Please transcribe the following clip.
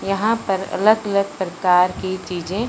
यहां पर अलग अलग प्रकार की चीजें--